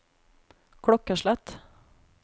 klokkeslett